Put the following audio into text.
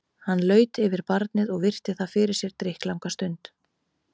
Hann laut yfir barnið og virti það fyrir sér drykklanga stund.